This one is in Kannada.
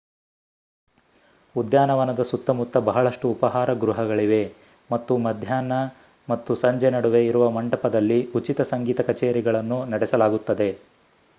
ಉದ್ಯಾನವನದ ಸುತ್ತ ಮುತ್ತ ಬಹಳಷ್ಟು ಉಪಹಾರ ಗೃಹಗಳಿವೆ . ಮತ್ತು ಮಧ್ಯಾಹ್ನ ಮತ್ತು ಸಂಜೆ ನಡುವೆ ಇರುವ ಮಂಟಪದಲ್ಲಿ ಉಚಿತ ಸಂಗೀತ ಕಚೇರಿಗಳನ್ನು ನಡೆಸಲಾಗುತ್ತದೆ